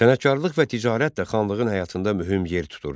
Sənətkarlıq və ticarət də xanlığın həyatında mühüm yer tuturdu.